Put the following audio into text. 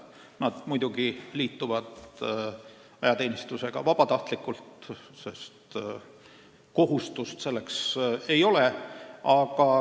Nad muidugi liituvad ajateenistusega vabatahtlikult, neil kohustust ei ole.